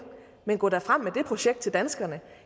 men gå da frem med det projekt til danskerne